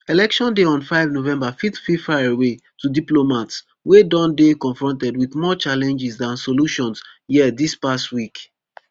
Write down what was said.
election day on five november fit feel faraway to diplomats wey don dey confronted wit more challenges dan solutions here dis past week